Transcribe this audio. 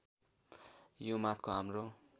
यो माथको हाम्रो